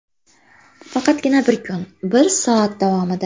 Faqatgina bir kun, bir soat davomida!